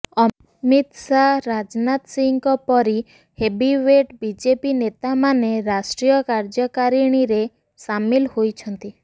ଅମିତ ଶାହ ରାଜନାଥ ସିଂହଙ୍କ ପରି heavyweight BJP ନେତାମାନେ ରାଷ୍ଟ୍ରିୟ କାର୍ଯ୍ୟକାରିଣୀରେ ସାମିଲ ହୋଇଛନ୍ତି